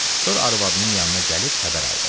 Sonra arvadının yanına gəlib xəbər aldı.